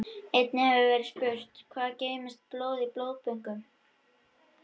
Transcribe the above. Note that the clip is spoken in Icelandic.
Einnig hefur verið spurt: Hvað geymist blóð í blóðbönkum lengi?